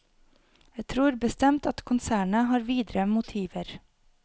Jeg tror bestemt at konsernet har videre motiver.